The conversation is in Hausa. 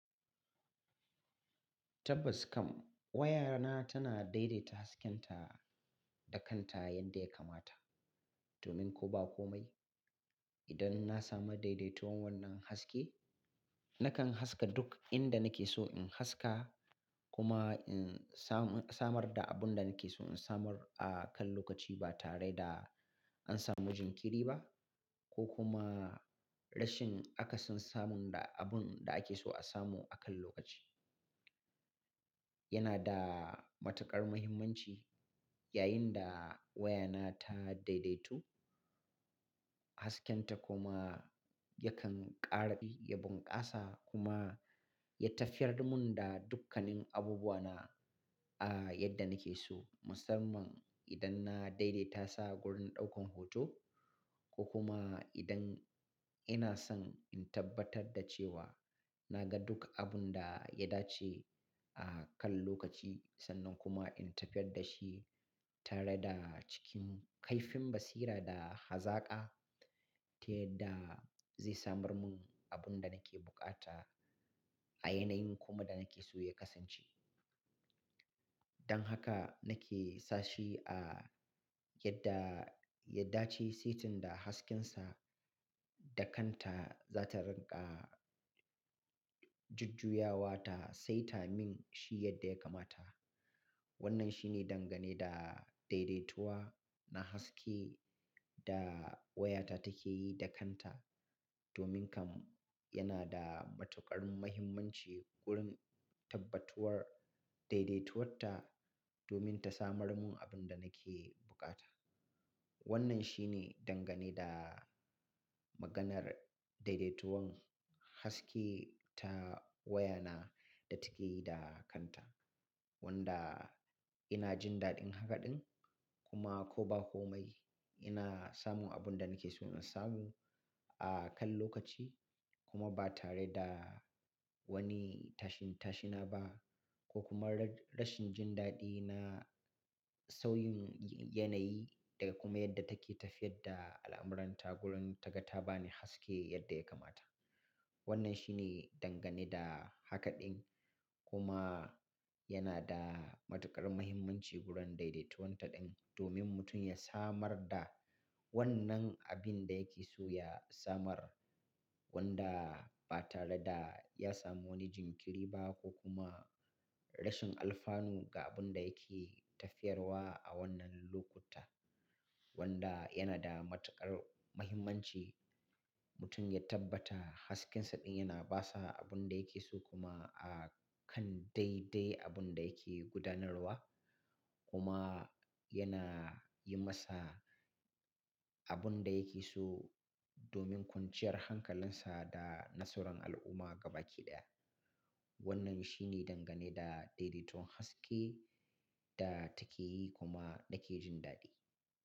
Tabbas kam wayana tana daidaita haskenta da kanta yadda ya kamata. Domin ko ba komai, idan na samu daidaituwan wannan haske, nakan haska duk inda nake so in haska kuma in samar da abun da nake so in samar a kan lokaci ba tare da an samu jinkiri ba ko kuma rashin akasin samun da abun da ake so a samu a kan lokaci. Yana da matuƙar muhimmanci yayin da wayana ta daidaitu haskenta kuma yakan ƙara ya bunƙasa kuma ya tafiyar mun da dukkanin abubuwana a yadda nake so. Musamman idan na daidaita sa wurin ɗaukan hoto ko kuma idan ina son in tabbatar da cewa na ga duk abun da ya dace a kan lokaci sannan kuma in tafiyar da shi tare da cikin kaifin basira da hazaƙa, ta yadda zai samar mun abun da nake bukata a yanayin kuma da nake so ya kasance. Dan haka nake sa shi a yadda ya dace, saitin da haskensa da kanta za ta rinƙa jujjuya wa ta sai ta min shi yadda ya kamata. Wannan shine dangane da daidaituwa na haske da wayata take yi da kanta. Domin kam yana da matuƙar muhimmanci wurin tabbatuwar daidaituwarta domin ta samar mun abun da nake bukata. Wannan shine dangane da maganar daidaituwan haske ta wayana da take yi da kanta. Wanda ina jin daɗin haka ɗin kuma ko ba komai ina samun abun da nake so in samu a kan lokaci kuma ba tare da wani tashin-tashina ba ko kuma rashin jin daɗi na sauyin yanayi daga kuma yadda take tafiyar da al'amuranta wurin ta ga ta bani haske yadda ya kamata. Wannan shine dangane da haka ɗin kuma yana da matuƙar muhimmanci wurin daidaituwan ta ɗin domin mutum ya samar da wannan abun da yake so ya samar wanda ba tare da ya samu wani jinkiri ba ko kuma rashin alfanu ga abun da yake tafiyarwa a wannan lokuta. Wanda yana da matuƙar muhimmanci mutum ya tabbata haskensa ɗin yana basa abun da yake so kuma a kan daidai abun da yake gudanarwa kuma yana yi masa abun da yake so domin kwanciyar hankalinsa da nasarar al'umma gaba ke ɗaya. Wannan shine dangane da daidaituwan haske da take yi kuma nake jin daɗi.